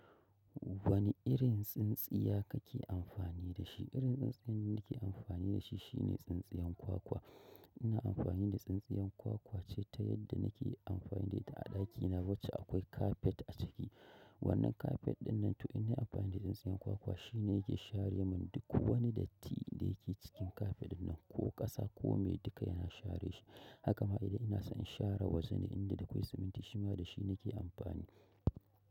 Wane irin tsintsiya kake amfani da shi? Irin tsintsiyan da nake amfani da shi shine tsintsiyan kwakwa. Ina amfani da tsintsiyan kwakwa ce ta yadda nake amfani da ita a ɗakina, wacce akwai kafef a ciki. Wannan kafet ɗinnan to ina amfani da tsintsiyan kwakwa, shi ne yake share mun duk wani datti da yake cikin kafet ɗinnan ko ƙasa kome duka yana share shi. Haka ma idan ina so in share wajene inda da akwai siminti shima da shi nake amfani.